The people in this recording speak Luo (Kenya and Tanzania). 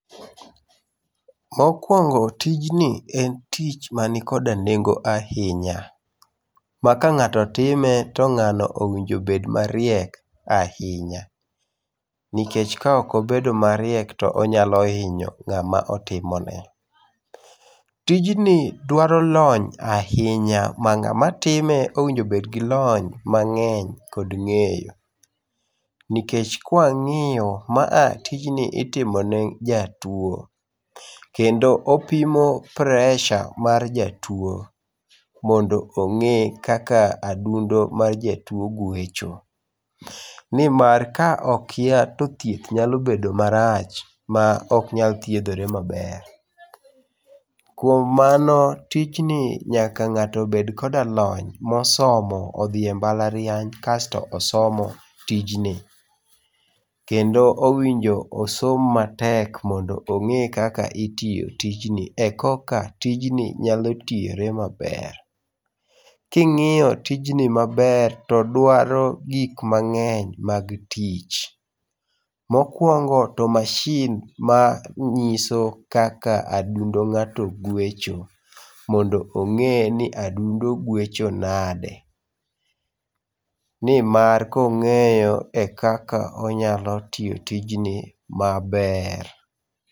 Mokuongo tijni en tich man koda nengo ahinya, ma ka ng'ato time to ng'ano owinjo bed mariek ahinya. Nikech kaok obedo mariek to onyalo hinyo ng'ama otimone. Tijni dwaro lony ahinya ma ng'ama time owinjo obedgi lony mang'eny kod ng'eyo. Nikech kwang'iyo, tijni itimo ne jatuo kendo opimo pressure mar jatuo, mondo ong'e kaka adundo mar jatuo gwecho. Nimar ka okia to thieth nyalo bedo marach ma ok nyal thiedhore maber. Kuom mano, tijni nyaka ng'ato obed koda lony mosomo odhi e mbalariany, kasto osomo tij ni. Kendo owinjo osom matek mondo ong'e kaka itiyo tij ni eka tijni nyalo tiyore maber. King'iyo tijni maber to dwaro gik mang'eny mag tich. Mokuongo to masin manyiso kaka adundo ng'ato gwecho, mondo ong'e ni to adundo gwecho nade. Nimar kong'eyo ekaka onyalo tiyo tijni maber.